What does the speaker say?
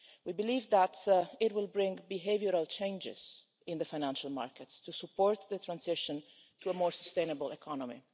We believe that it will bring behavioural changes in the financial markets to support the transition to a more sustainable economy.